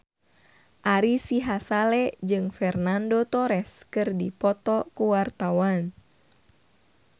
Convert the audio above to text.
Ari Sihasale jeung Fernando Torres keur dipoto ku wartawan